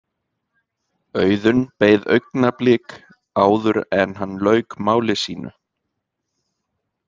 Auðunn beið augnablik áður en hann lauk máli sínu.